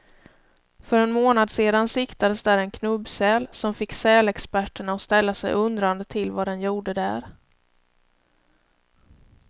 För en månad sedan siktades där en knubbsäl, som fick sälexperterna att ställa sig undrande till vad den gjorde där.